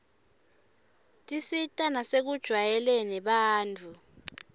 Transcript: tisita nasekujwayeleni abantfu